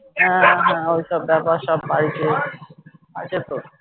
হ্যাঁ হ্যাঁ ওই সব ব্যাপার সব বাড়ীতে আছে তো